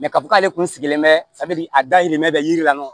k'a fɔ k'ale kun sigilen bɛ a dayirimɛ bɛ yiri la